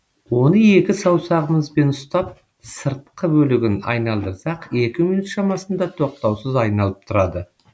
оны екі саусағымызбен ұстап сыртқы бөлігін айналдырсақ екі минут шамасында тоқтаусыз айналып тұрады